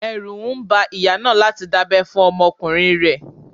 Ẹrú ń ba ìyá náà láti dábẹ́ fún ọmọkùnrin rẹ̀.